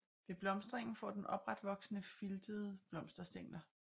Ved blomstringen får den opretvoksende filtede blomsterstængler